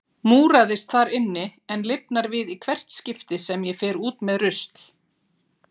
Múraðist þar inni en lifnar við í hvert skipti sem ég fer út með rusl.